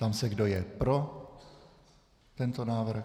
Ptám se, kdo je pro tento návrh.